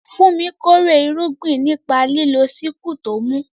Funmi kórè irúgbìn nípa lílo sickle tó mú.